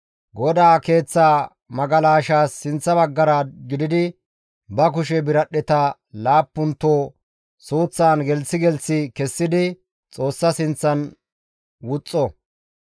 GODAA Keeththa magalashaas sinththa baggara gididi ba kushe biradhdheta laappunto suuththan gelththi gelththi kessidi Xoossa sinththan wuxxo.